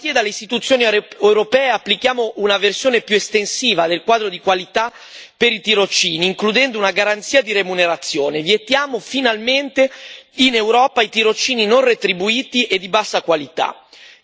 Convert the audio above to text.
A partire dalle istituzioni europee applichiamo una versione più estensiva del quadro di qualità per i tirocini, includendo una garanzia di remunerazione, vietiamo finalmente in Europa i tirocini non retribuiti e di bassa qualità.